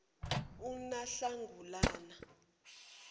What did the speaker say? unahlangulana